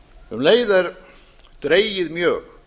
um leið er dregið mjög